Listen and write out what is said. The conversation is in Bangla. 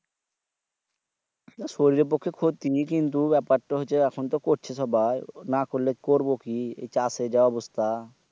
শরীরের পক্ষে ক্ষতি কিন্তু ব্যাপার তা হছে এখুন তো করছে সুবাই না করলে করবো কি এই চাষের যা অবস্থা